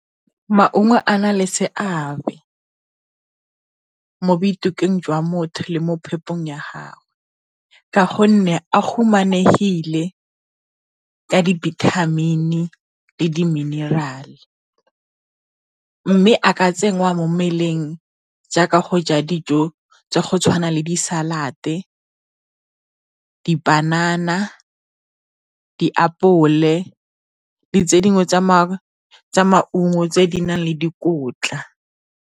Maungo a na le seabe mo jwa motho le mo phepong ya gagwe, ka gonne a humanegile ka dibithamini le diminerale. Mme a ka tsenngwa mo mmeleng jaaka go ja dijo tsa go tshwana le di salad, dipanana diapole, le tse dingwe tsa maungo tse di nang le dikotla.